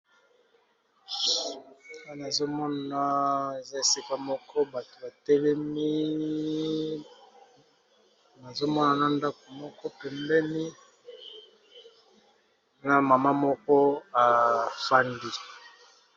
Awa nazomona eza esika moko bato batelemi nazomona na ndaku moko pembeni na mama moko afandi.